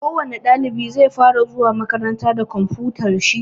Kowani ɗalibi zai fara zuwa makaranta da komfutar shi.